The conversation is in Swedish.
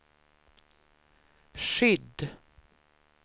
skydd